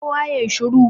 kowa ya yi shir!